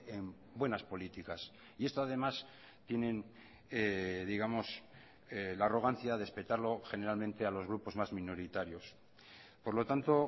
en buenas políticas y esto además tienen digamos la arrogancia de espetarlo generalmente a los grupos más minoritarios por lo tanto